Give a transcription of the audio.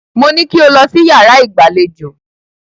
Mo ní kí o lọ sí yàrá ìgbàlejò.